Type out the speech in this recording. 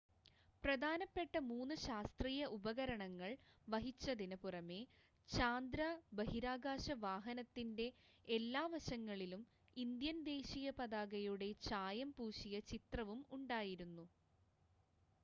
പ്രധാനപ്പെട്ട മൂന്ന് ശാസ്ത്രീയ ഉപകരണങ്ങൾ വഹിച്ചതിന് പുറമെ ചാന്ദ്ര ബഹിരാകാശ വാഹനത്തിൻ്റെ എല്ലാ വശങ്ങളിലും ഇന്ത്യൻ ദേശീയ പതാകയുടെ ചായം പൂശിയ ചിത്രവും ഉണ്ടായിരുന്നു